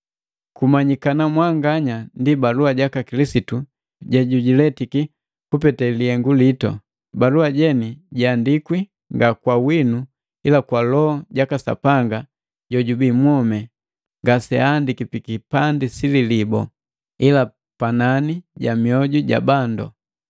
Kumanyikana mwanganya ndi balua jaka Kilisitu jejujiletiki kupete lihengu litu. Balua jeni jiandikwi nga kwa winu ila kwa Loho jaka Sapanga jojubii mwomi, ngaseandiki pikipandi sililibu, ila panani ja mioju ja bandu.